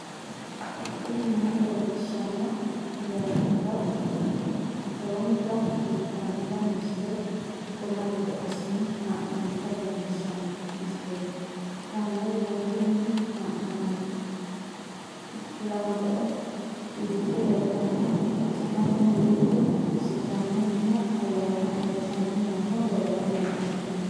tini maa leelishshanno yaannohura lowonta biiffanota misile xuma gede assine haa'noonnita leellishshanno misileeti kaameru danchunni haa'noonni lamboe biiffe leeeltanno mannu duuchu sdaamunnihu ayyanna ayrisanni noohu leellanni nooe